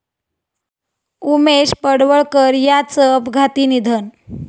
उमेश पडवळकर यांचं अपघाती निधन